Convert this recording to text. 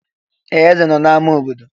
Ee! Eze nọ na ámá obodo.